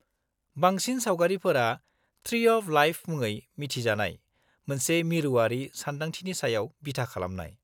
-बांसिन सावगारिफोरा 'tree of life' मुङै मिथिजानाय मोनसे मिरुआरि सानदांथिनि सायाव बिथा खालामनाय।